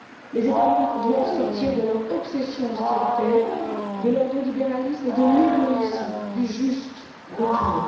Les États membres doivent sortir de leur obsession austéritaire, de l'ordolibéralisme et de l'égoïsme du juste retour.